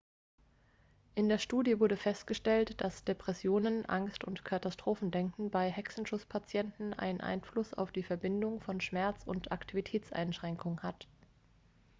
in der studie wurde festgestellt dass depressionen angst und katastrophendenken bei hexenschusspatienten einen einfluss auf die verbindung von schmerz und aktivitätseinschränkung hat